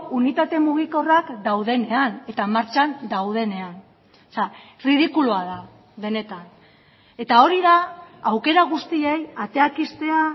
unitate mugikorrak daudenean eta martxan daudenean ridikulua da benetan eta hori da aukera guztiei ateak ixtea